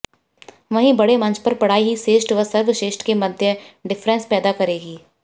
वहीं बड़़े मंच पर पढ़ाई ही श्रेष्ठ व सर्वश्रेष्ठ के मध्य डिफेरेंस पैदा करेगी